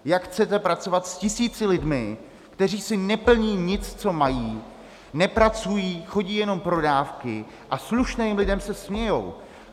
Jak chcete pracovat s tisíci lidmi, kteří si neplní nic, co mají, nepracují, chodí jenom pro dávky a slušným lidem se smějí?